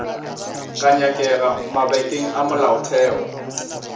ka nyakega mabakeng a molaotheo